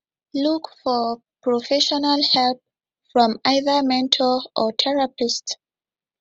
look for professional help from either mentor or therapist